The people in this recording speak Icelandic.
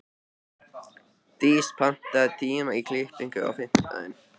Dís, pantaðu tíma í klippingu á fimmtudaginn.